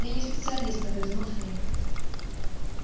я не специалист огрызнулся я